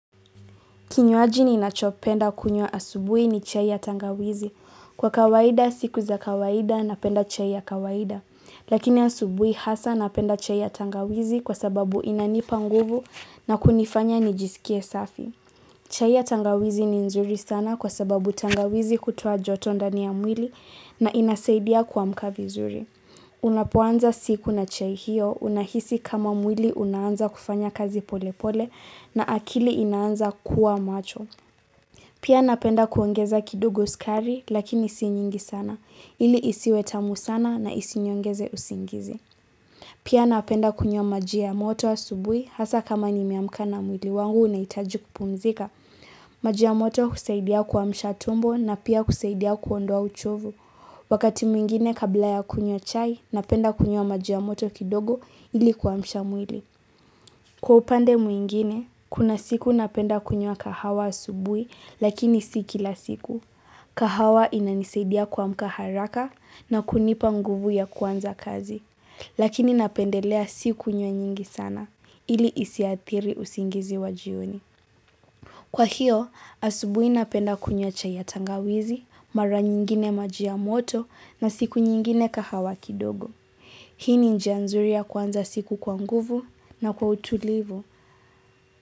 Kinywaji ni nachopenda kunywa asubui ni chai ya tangawizi. Kwa kawaida siku za kawaida napenda chai ya kawaida. Lakini asubui hasa napenda chai ya tangawizi kwa sababu inanipa nguvu na kunifanya nijisikie safi. Chai ya tangawizi ni nzuri sana kwa sababu tangawizi kutoa joto ndani ya mwili na inasaidia kuamka vizuri. Unapoanza siku na chai hiyo, unahisi kama mwili unaanza kufanya kazi pole pole na akili inaanza kuwa macho. Pia napenda kuongeza kidogo skari lakini si nyingi sana, ili isiwe tamu sana na isiniongeze usingizi. Pia napenda kunywa maji ya moto asubui hasa kama ni meamka na mwili wangu unaitaji kupumzika. Maji ya moto husaidia kuamsha tumbo na pia husaidia kuondoa uchovu. Wakati mwingine kabla ya kunywa chai, napenda kunywa maji ya moto kidogo ili kuamsha mwili. Kwa upande mwingine, kuna siku napenda kunywa kahawa asubui lakini si kila siku. Kahawa inanisaidia kuamka haraka na kunipa nguvu ya kuanza kazi. Lakini napendelea sikunye nyingi sana ili isiathiri usingizi wa jioni. Kwa hiyo asubui napenda kunywa chai ya tangawizi, mara nyingine maji ya moto na siku nyingine kahawa kidogo. Hii ni njia nzuri ya kuanza siku kwa nguvu na kwa utulivu.